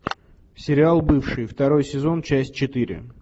сериал бывшие второй сезон часть четыре